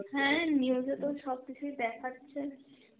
হ্যাঁ news এতো সবকিছুই দেখাচ্ছে.